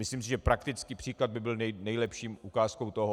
Myslím si, že praktický příklad by byl nejlepší ukázkou toho.